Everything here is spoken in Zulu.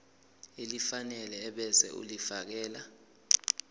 elifanele ebese ulifiakela